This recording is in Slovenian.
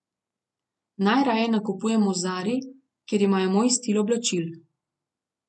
Najraje nakupujem v Zari, kjer imajo moj stil oblačil.